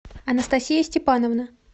анастасия степановна